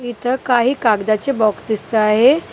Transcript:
इथं काही कागदाचे बॉक्स दिसतं आहे.